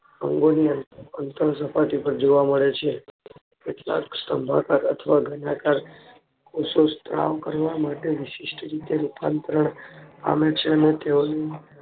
અંગોની અંતર સપાટી પર જોવા મળે છે કેટલાક સ્તંભાકર અથવા ઘનાકાર કોષો સ્ત્રા વકરવા માટે વિશિષ્ટ રીતે રૂપાંતરણ પામે છે અને તેઓની